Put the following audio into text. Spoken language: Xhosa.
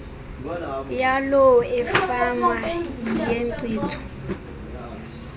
yaloo efama yenkcitho